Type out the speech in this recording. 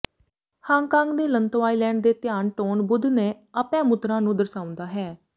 Hong Kong ਦੇ Lantau island ਦੇ Tian Tan Buddha ਨੇ ਅਭੈ ਮੁਦਰਾ ਨੂੰ ਦਰਸਾਉਂਦਾ ਹੈ